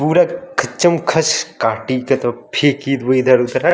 पुरे खचम खच काटे फेंकी हुई इधर उधर --